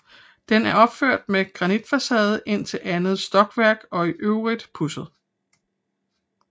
Den er opført med granitfacade indtil andet stokværk og i øvrigt pudset